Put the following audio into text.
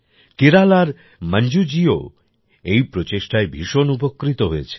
কেরালার মঞ্জুজিও এই প্রচেষ্টায় ভীষণ উপকৃত হয়েছেন